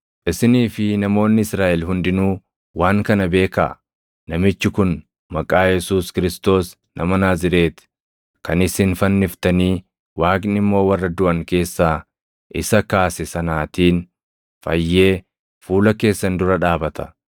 isinii fi namoonni Israaʼel hundinuu waan kana beekaa; namichi kun maqaa Yesuus Kiristoos nama Naazreeti kan isin fanniftanii Waaqni immoo warra duʼan keessaa isa kaase sanaatiin fayyee fuula keessan dura dhaabata.